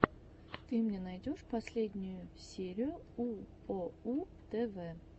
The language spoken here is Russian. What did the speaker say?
ты мне найдешь последнюю серию уоу тв